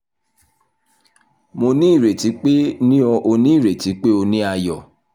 mo ni ireti pe mo ni o ni ireti pe o ni o ni ayọ